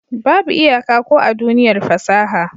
Babu iyaka ko a duniyar fasaha.